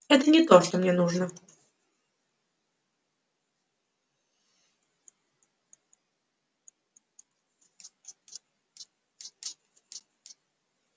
это не то что мне нужно